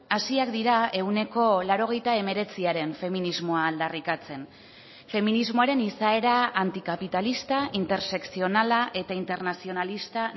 hasiak dira ehuneko laurogeita hemeretziaren feminismoa aldarrikatzen feminismoaren izaera antikapitalista intersekzionala eta internazionalista